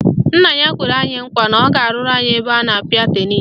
Nna ya kwere anyị nkwa na ọ ga-arụrụ anyị ebe a na-apịa tenisi